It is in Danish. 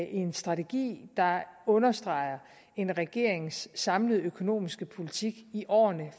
en strategi der understreger en regerings samlede økonomiske politik i årene